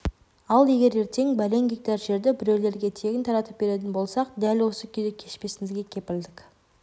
ал егер ертең бәлен гектар жерді біреулерге тегін таратып беретін болсақ дәл осы күйді кешпесімізге кепілдік